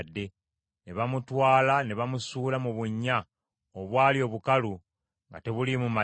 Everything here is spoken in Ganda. ne bamutwala ne bamusuula mu bunnya obwali obukalu nga tebuliimu mazzi.